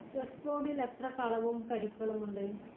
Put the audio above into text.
Chess ബോർഡിൽ എത്ര കളവും കരുക്കളുമുണ്ട്?